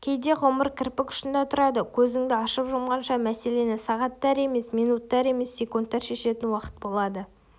кейде ғұмыр кірпік ұшында тұрады көзіңді ашып-жұмғанша мәселені сағаттар емес минуттар емес секундтар шешетін уақыт болады